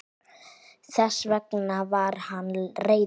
Þess vegna var hann reiður.